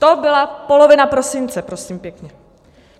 To byla polovina prosince, prosím pěkně.